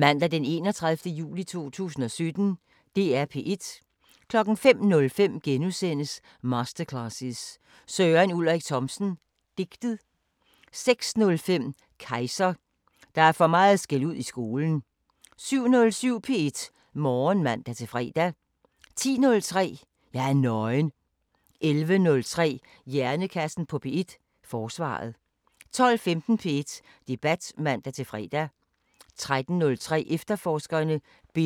06:05: Grammofon (man-fre) 07:07: P2 Morgenmusik (man-fre) 10:03: Hej P2 (man-fre) 12:15: Opera i guldalderens København (Afs. 1) 13:03: Det´ dansk (man-fre) 14:03: Grammofon (man-fre) 15:03: Amadeus (man-fre) 18:05: Festivalsommer (man-fre) 19:20: P2 Koncerten (man-fre) 22:30: Natsværmeren